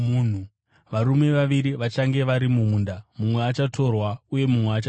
Varume vaviri vachange vari mumunda, mumwe achatorwa uye mumwe achasiyiwa.